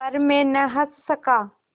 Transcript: पर मैं न हँस सका